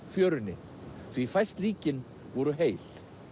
fjörunni því fæst líkin voru heil